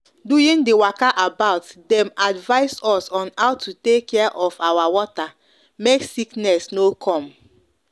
during the waka about them advice us on how to take care of our water make sickness no com